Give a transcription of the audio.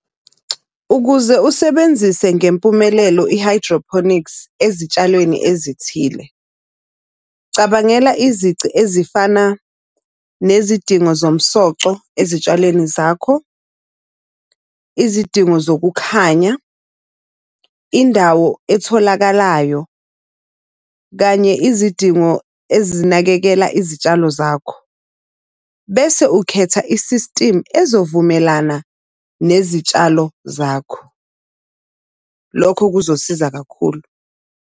Ukuze usebenzise ngempumelelo i-hydroponics ezitshalweni ezithile, cabangela izici ezifana nezidingo zomsoco ezitshalweni zakho, izidingo zokukhanya, indawo etholakalayo, kanye izidingo ezinakekela izitshalo zakho. Bese ukhetha i-system ezovumelana nezitshalo zakho. Lokho kuzosiza kakhulu.